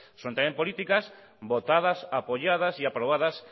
son también políticas votadas apoyadas y aprobadas